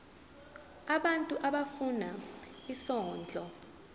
abantu abafuna isondlo